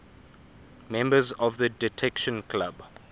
members of the detection club